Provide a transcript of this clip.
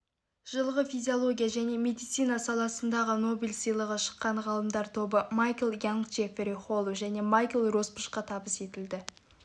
жылғы физиология және медицина саласындағы нобель сыйлығы шыққан ғалымдар тобы майкл янг джеффери холлу және майкл росбашқа табыс етілді